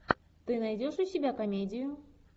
ты найдешь у себя комедию